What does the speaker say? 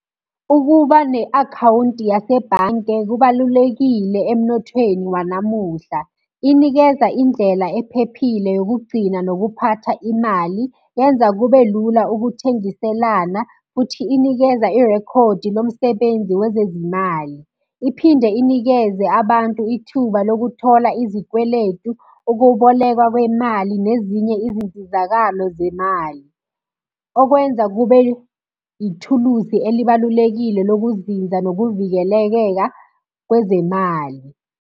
Ukuba ne-akhawunti yasebhange kubalulekile emnothweni wanamuhla. Inikeza indlela ephephile yokugcina nokuphatha imali. Yenza kube lula ukuthengiselana, futhi inikeza irekhodi lomsebenzi wezezimali. Iphinde inikeze abantu ithuba lokuthola izikweletu, ukubolekwa kwemali nezinye izinsizakalo zemali. Okwenza kube ithuluzi elibalulekile lokuzinza nokuvikelekeka kwezemali.